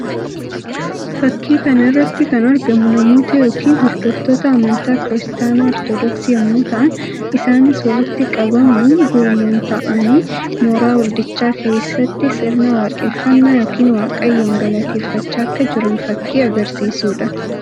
Fakkii kana irratti kan argamu amantoota yookiin hordoftoota amantaa kiristaanaa Ortodoksii yammuu ta'an; isaannis walitti qabamuun gurmuun taa'aanii mooraa waldichaa keessatti sirna waaqeffannaa yookiin Waaqayyoon galateeffaachaa akka jiran fakkii agarsiisuu dha.